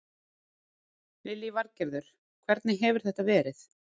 Lillý Valgerður: Hvernig hefur þetta verið?